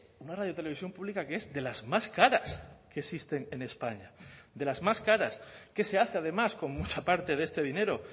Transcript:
una radio televisión pública que es de las más caras que existen en españa de las más caras qué se hace además con mucha parte de este dinero